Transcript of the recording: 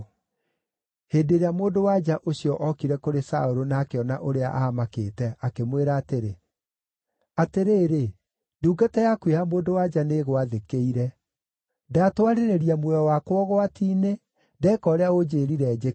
Hĩndĩ ĩrĩa mũndũ-wa-nja ũcio okire kũrĩ Saũlũ na akĩona ũrĩa aamakĩte, akĩmwĩra atĩrĩ, “Atĩrĩrĩ, ndungata yaku ya mũndũ-wa-nja nĩĩgwathĩkĩire. Ndatwarĩrĩria muoyo wakwa ũgwati-inĩ, ndeeka ũrĩa ũnjĩĩrire njĩke.